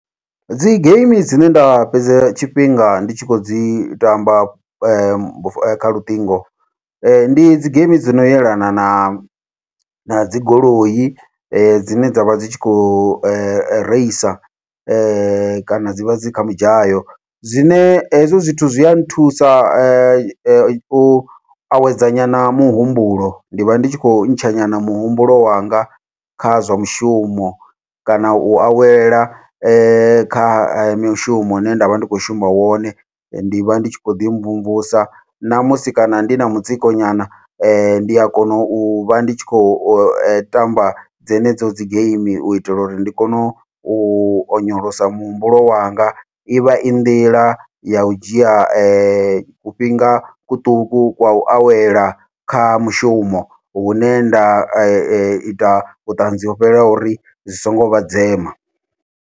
Dzi geimi dzine nda fhedza tshifhinga ndi tshi kho dzi tamba kha luṱingo, ndi dzi geimi dzino yelana na nadzi goloi dzine dzavha dzi tshi kho reisa kana dzivha dzi kha midzhayo, zwine hezwo zwithu zwi a nthusa u awedza nyana muhumbulo ndi vha ndi tshi khou ntsha nyana muhumbulo wanga kha zwa mushumo, kana u awela kha mishumo ine nda vha ndi khou shuma wone. Ndi vha ndi tshi khou ḓi mvumvusa ṋamusi kana ndi na mutsiko nyana, ndi a kona uvha ndi tshi khou tamba dzenedzo dzi geimi uitela uri ndi kone u u onyolosa muhumbulo wanga, ivha i nḓila yau dzhia kufhinga kuṱuku kwa u awela kha mushumo hune nda ita vhuṱanzi ho fhelelaho uri zwi songo vha dzema.